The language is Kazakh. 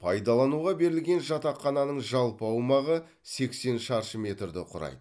пайдалануға берілген жатақхананың жалпы аумағы сексен шаршы метрді құрайды